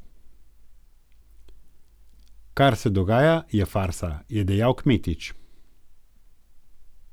Kar se dogaja, je farsa, je dejal Kmetič.